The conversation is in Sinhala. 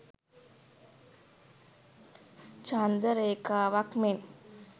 චන්ද්‍ර රේඛාවක් මෙන්